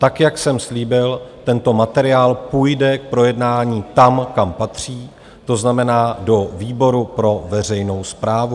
Tak jak jsem slíbil, tento materiál půjde k projednání tam, kam patří, to znamená do výboru pro veřejnou správu.